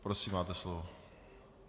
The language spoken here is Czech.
Prosím, máte slovo.